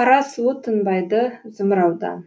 қара суы тынбайды зымыраудан